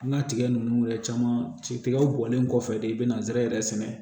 An ka tigɛ nunnu yɛrɛ caman ci tigɛ bɔlen kɔfɛ de i bɛna nsɛrɛ sɛnɛ